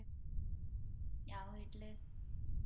ഞാൻ വീട്ടില്